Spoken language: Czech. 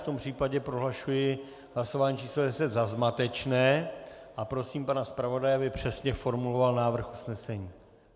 V tom případě prohlašuji hlasování číslo 10 za zmatečné a prosím pana zpravodaje, aby přesně formuloval návrh usnesení.